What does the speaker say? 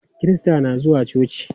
Kirista na zuwa coci.